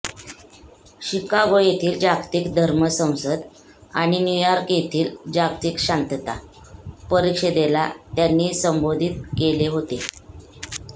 Chicago येथील जागतिक धर्म संसद आणि न्यूयॉर्क येथील जागतिक शांतता परिषदेला त्यांनी संबोधित केले होते